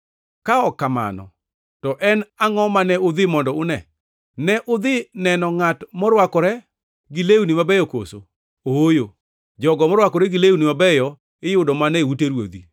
Ka ok mano to en angʼo mane udhi mondo une? Ne udhi neno ngʼat morwakore gi lewni mabeyo koso? Ooyo, jogo marwakore gi lewni mabeyo iyudo mana e ute ruodhi.